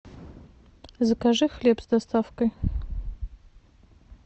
закажи хлеб с доставкой